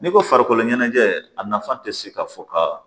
N'i ko farikolo ɲɛnajɛ a nafa tɛ se ka fɔ ka